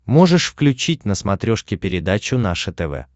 можешь включить на смотрешке передачу наше тв